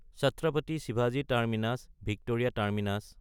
ছাত্ৰাপাতি শিৱাজী terminus (Victoria terminus)